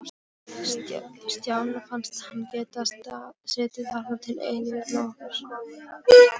Stjána fannst hann geta setið þarna til eilífðarnóns.